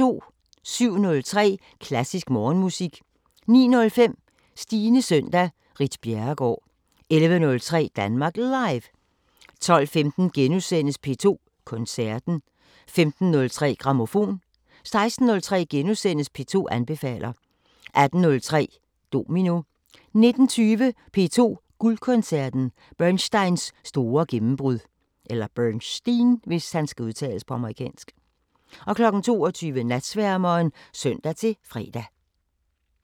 07:03: Klassisk Morgenmusik 09:05: Stines søndag: Ritt Bjerregaard 11:03: Danmark Live 12:15: P2 Koncerten * 15:03: Grammofon 16:03: P2 anbefaler * 18:03: Domino 19:20: P2 Guldkoncerten: Bernsteins store gennembrud 22:00: Natsværmeren (søn-fre)